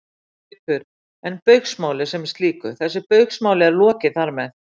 Haukur: En Baugsmáli sem slíku, þessu Baugsmáli er lokið þar með?